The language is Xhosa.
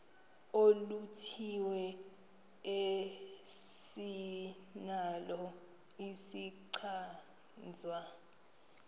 oluthile esinalo isichazwa